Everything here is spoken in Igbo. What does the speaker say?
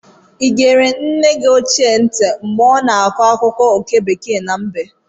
Ị egere nne gị ochie ntị mgbe ọ na-akọ akụkọ oke bekee na mbe?